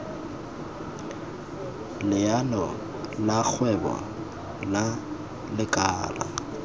leano la kgwebo la lekala